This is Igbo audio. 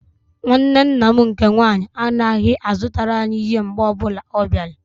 Nwanne nna m nke nwaanyị anaghị-azụtara anyị ihe mgbe ọbụla ọ bịara.